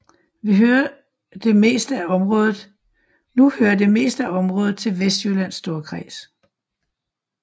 Nu hører det meste af området til Vestjyllands Storkreds